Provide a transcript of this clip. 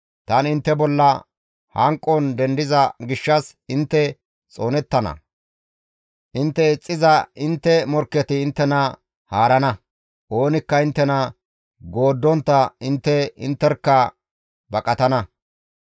Tani intte bolla hanqon dendiza gishshas intte xoonettana; intte ixxiza intte morkketi inttena haarana; oonikka inttena gooddontta intte intterkka baqatana.